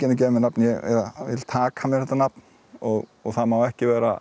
að gefa mér nafn ég vil taka mér þetta nafn og það má ekki vera